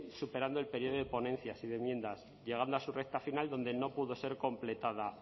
superando el período de ponencias y de enmiendas llegando a su recta final donde no pudo ser completada